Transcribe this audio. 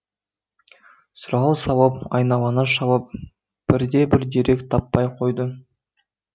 сұрау салып айналаны шалып бірде бір дерек таппай қоядың